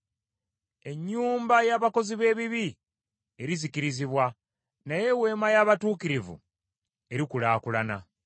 Ennyumba y’abakozi b’ebibi erizikirizibwa, naye eweema y’abatuukirivu erikulaakulana.